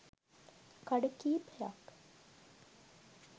කඩ කීපයක්